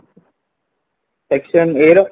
section A ର